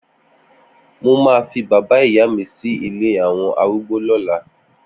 Mó mà fi bàbá ìyá mi si ilé awọn árùgbó lọ̀là